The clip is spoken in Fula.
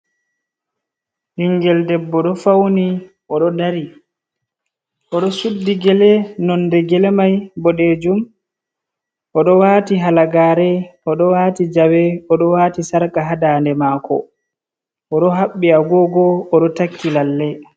Ɓingel debbo ɗo fauni. Oɗo dari, oɗo suddi gele, nonde gele mai bo boɗeejum, oɗo waati halagaare, oɗo waati jawe, oɗo waati sarka haa ndande maako, oɗo haɓɓi agogo, oɗo takki lalle.